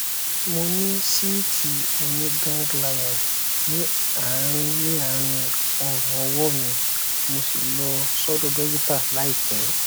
mo ní síìtì oníganglion ní àárí ní àárí ọrùn ọwọ mi mo sì lọ sọdọ dọkítà láìpẹ